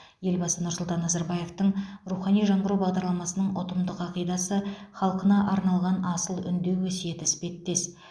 елбасы нұрсұлтан назарбаевтың рухани жаңғыру бағдарламасының ұтымды қағидасы халқына арналған асыл үндеу өсиеті іспеттес